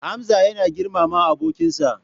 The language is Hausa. Hamza yana girmama abokinsa.